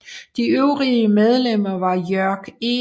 De øvrige medlemmer var Jörg E